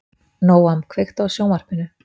Nóam, kveiktu á sjónvarpinu.